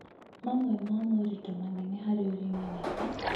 mamwe ma moritũ manene ma ũrĩmi nĩ ta: